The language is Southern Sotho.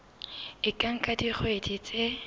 e ka nka dikgwedi tse